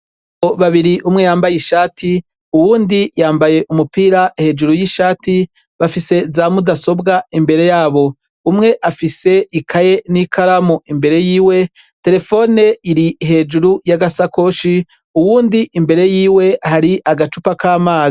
Babiri umwe yambaye ishati, uwundi yambaye umupira hejuru y'ishati bafise zamudasobwa imbere yabo, umwe afise ikaye n'ikaramu imbere yiwe, telefone iri hejuru y'agasakoshi, uwundi imbere yiwe hari agacupa k'amana.